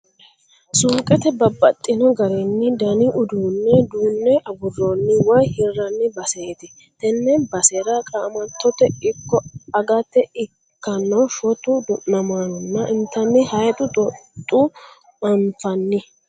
Suuqete babbaxino garinna dani uduunne duunne aguroonni woy hirraanni baseeti. Tenne basera qaamattote ikko agate ikkanno shota du'nammanonna intanni haayxu xoxxoo anfanni.